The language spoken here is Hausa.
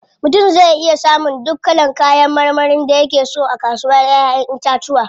Mutum zai iya samun duk kalan kayan marmarin da yake so a kasuwar Ƴaƴan itatuwa.